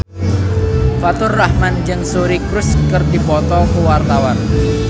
Faturrahman jeung Suri Cruise keur dipoto ku wartawan